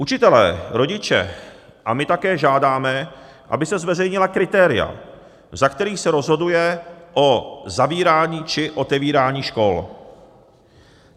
Učitelé, rodiče a my také žádáme, aby se zveřejnila kritéria, za kterých se rozhoduje o zavírání či otevírání škol.